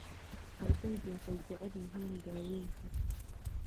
Ardaydu waxay jecel yihiin daawaynta.